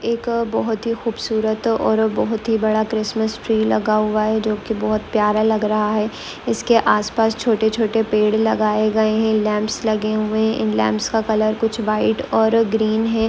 एक बहुत ही खूबसूरत और बहुत ही बड़ा क्रिसमस ट्री लगा हुआ है जो की बहुत प्यारा लग रहा है ईसके आसपास छोटे-छोटे पेड़ लगाए गए हैं लैंप्स लगे हुए इन लैंप्स का कलर कुछ व्हाईट और ग्रीन है।